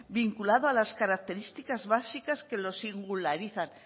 vinculado a las características básicas que lo singularizan